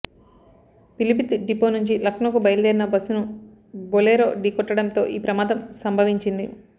Pilibhit depot నుంచి లక్నోకు బయలుదేరిన బస్సును బోలెరో ఢీకొట్టడంతో ఈ ప్రమాదం సంభవించింది